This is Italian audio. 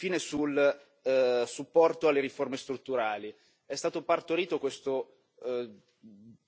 Infine, sul supporto alle riforme strutturali è stato partorito questo